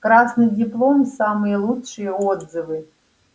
красный диплом самые лучшие отзывы